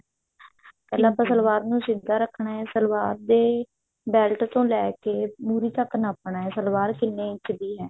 ਪਹਿਲਾਂ ਆਪਾਂ ਸਲਵਾਰ ਨੂੰ ਸਿੱਧਾ ਰੱਖਣਾ ਹੈ ਸਲਵਾਰ ਦੇ belt ਤੋਂ ਲੈ ਕੇ ਮੁਰ੍ਹੀ ਤੱਕ ਨਾਪਣਾ ਸਲਵਾਰ ਕਿੰਨੇ ਇੰਚ ਦੀ ਹੈ